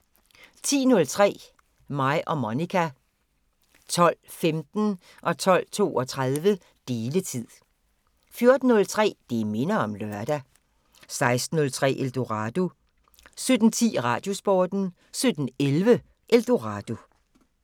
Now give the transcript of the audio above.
10:03: Mig og Monica 12:15: Deletid 12:32: Deletid 14:03: Det minder om lørdag 16:03: Eldorado 17:10: Radiosporten 17:11: Eldorado